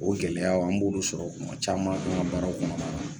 O gɛlɛyaw an b'olu sɔrɔ kuma caman an ka baaraw kɔnɔ na la